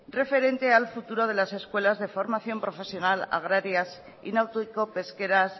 referente al futuro de las escuelas de formación profesional agrarias y náutico pesqueras